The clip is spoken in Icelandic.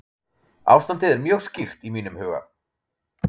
Ástandið er mjög skýrt í mínum huga.